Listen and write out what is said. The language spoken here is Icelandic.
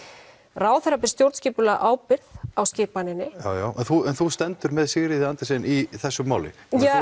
ráðherra ber stjórnskipulega ábyrgð á skipaninni já já en þú stendur með Sigríði Andersen í í þessu máli